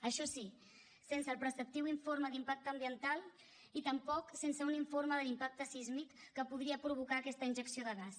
això sí sense el preceptiu informe d’impacte ambiental i també sense un informe de l’impacte sísmic que podria provocar aquesta injecció de gas